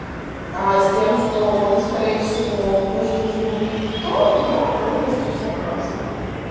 а с тем что он скорее всего по жизни никто я полностью согласна